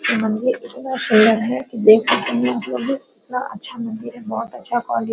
ये मंदिर इतना सुन्दर है की देख सकते है आपलोग भी कितना अच्छा मंदिर है कितना अच्छा क्वालिटी है ।